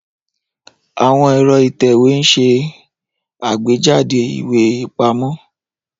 Àwọn ẹ̀rọ ìtẹ̀wé ń ṣe àgbéjáde ìwé ìpamọ́.